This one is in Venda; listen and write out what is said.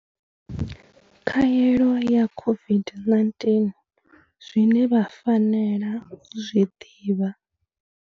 Khaelo ya COVID-19 zwine vha fanela u zwi ḓivha.